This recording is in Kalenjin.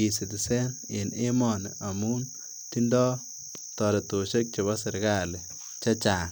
eCitizen en emonu amun tindoo toretosiekab chebo serkali chechang.